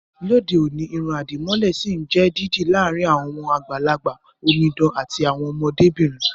Lóde òní, irun àdìmọ́lẹ̀ sì ń jẹ́ dídì láàrin àwọn àgbàlagbà, omidan àti àwọn ọmọdé bìnrin